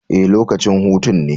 Ee, lokacin hutun ne